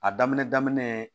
A daminɛ daminɛ